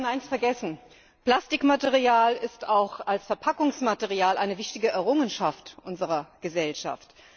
Wir haben eines vergessen Plastikmaterial ist auch als Verpackungsmaterial eine wichtige Errungenschaft unserer Gesellschaft.